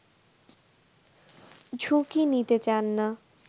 ঝুঁকি নিতে চান না